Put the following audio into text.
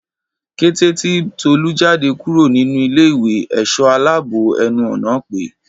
Kété tí Tolú jáde kúrò nínú ilé ìwé èsó aláàbò ẹnu ọ̀nà pé